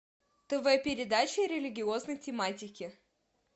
тв передачи религиозной тематики